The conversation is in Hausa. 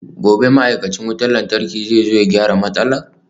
Gobe ​​ma'aikacin wutar lantarki zai zo ya gyara matsalar?